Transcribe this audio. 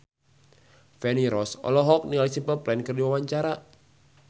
Feni Rose olohok ningali Simple Plan keur diwawancara